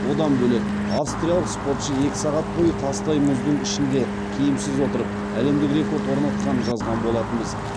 одан бөлек австриялық спортшы екі сағат бойы тастай мұздың ішінде киімсіз отырып әлемдік рекорд орнатқанын жазған болатынбыз